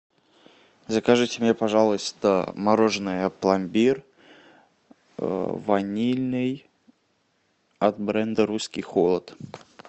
закажите мне пожалуйста мороженое пломбир ванильный от бренда русский холод